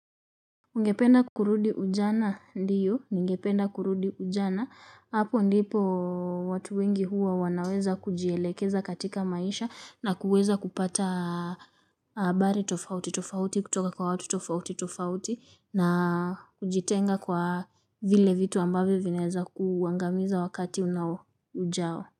Ugependa kurudi ujana? Ndio, ningependa kurudi ujana. Hapo ndipo watu wengi huwa wanaweza kujielekeza katika maisha na kuweza kupata habari tofauti tofauti kutoka kwa watu tofauti tofauti na kujitenga kwa vile vitu ambavyo vinaweza kuangamiza wakati ujao.